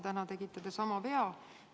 Täna tegite te sama vea.